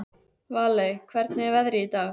Valey, hvernig er veðrið í dag?